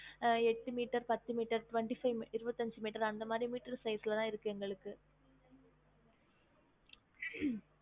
அஹ் எட்டு மீட்டர், பத்து metre, twenty-five இருபத்தைஞ்சு மீட்டர் அந்த மாதிரி மீட்டர் size ல தான் இருக்கு எங்களுக்கு